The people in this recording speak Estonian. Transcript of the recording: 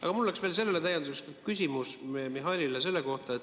Aga mul oleks veel sellele täienduseks küsimus Mihhailile.